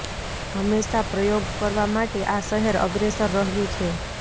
હંમેશા પ્રયોગ કરવા માટે આ શહેર અગ્રેસર રહ્યું છે